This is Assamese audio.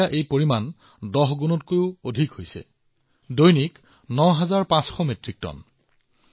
এতিয়া ই ১০ গুণতকৈ অধিক বৃদ্ধি হৈ প্ৰতিদিনে প্ৰায় ৯৫০০ মেট্ৰিক টন হৈছে